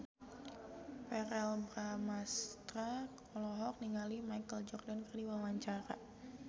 Verrell Bramastra olohok ningali Michael Jordan keur diwawancara